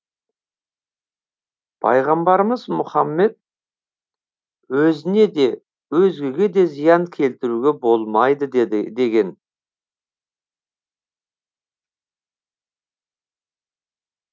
пайғамбарымыз мұхаммед өзіне де өзгеге де зиян келтіруге болмайды деген